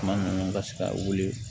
Tuma minnu ka se ka wuli